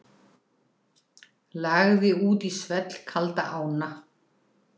Lagði út í svellkalda ána